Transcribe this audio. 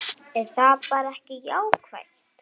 Er það bara ekki jákvætt?